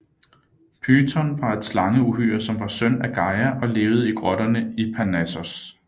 Python var et slangeuhyre som var søn af Gaia og levede i grotterne i Parnassos